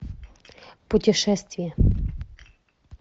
путешествие